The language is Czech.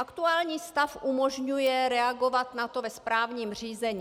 Aktuální stav umožňuje reagovat na to ve správním řízení.